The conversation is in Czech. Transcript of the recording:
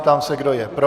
Ptám se, kdo je pro.